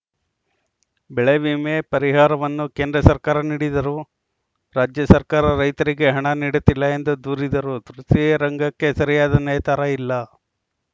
ಬೆಳೆ ವಿಮೆ ಪರಿಹಾರವನ್ನು ಕೇಂದ್ರ ಸರ್ಕಾರ ನೀಡಿದರೂ ರಾಜ್ಯ ಸರ್ಕಾರ ರೈತರಿಗೆ ಹಣ ನೀಡುತ್ತಿಲ್ಲ ಎಂದು ದೂರಿದರು ತೃತೀಯ ರಂಗಕ್ಕೆ ಸರಿಯಾದ ನೇತಾರ ಇಲ್ಲ